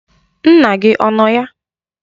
Nna gị ọ nọ ya?